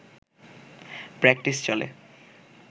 practice চলে